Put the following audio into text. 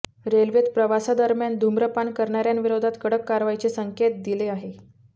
रेल्वेत प्रवासादरम्यान धुम्रपान करणाऱ्यांविरोधात कडक कारवाईचे संकेत दिले आहे